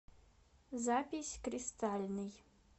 запись кристальный